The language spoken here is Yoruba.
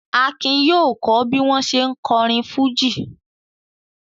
Akin yóò kọ́ bí wọ̀n ṣe ń kọrin fújì.